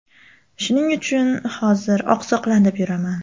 Shuning uchun hozir oqsoqlanib yuraman.